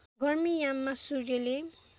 गर्मी याममा सूर्यले